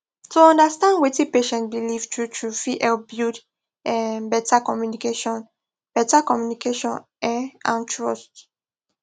to understand wetin patient believe truetrue fit help build um better communication better communication um and trust